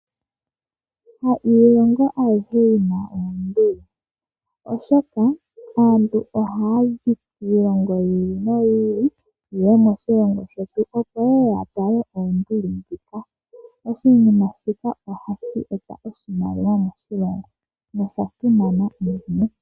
Hailongo ayihe yi na oonduli, oshoka aantu ohaya zi kiilongo yi ili noyi ili yeye moshilongo shetu opo yeye ya tale oonduli ndhika. Oshinima shika ohashi e ta oshimaliwa moshilongo nosha simana unene.